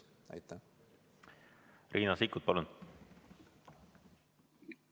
Riina Sikkut, palun!